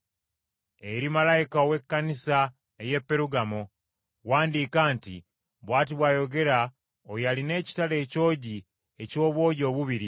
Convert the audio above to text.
“Eri malayika ow’Ekkanisa ey’e Perugamo wandiika nti: Bw’ati bw’ayogera oyo alina ekitala ekyogi eky’obwogi obubiri